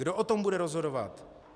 Kdo o tom bude rozhodovat?